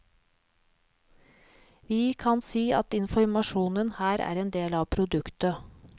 Vi kan si at informasjon her er en del av produktet.